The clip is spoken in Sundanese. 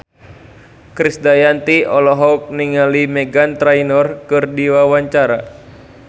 Krisdayanti olohok ningali Meghan Trainor keur diwawancara